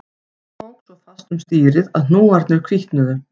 Hann tók svo fast um stýrið að hnúarnir hvítnuðu